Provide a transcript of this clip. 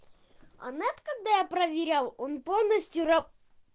а нет когда я проверял он полностью